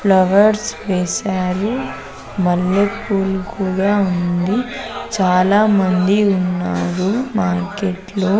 Flowers వేసారు మల్లెపూలు కూడా ఉంది చాలా మంది ఉన్నారు మార్కెట్లో .